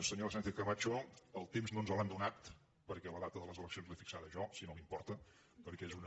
senyora sánchez camacho el temps no ens l’han donat perquè la data de les eleccions l’he fixada jo si no li importa perquè és una